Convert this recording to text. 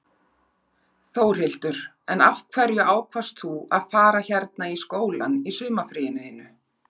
Þórhildur: En af hverju ákvaðst þú að fara hérna í skólann í sumarfríinu þínu?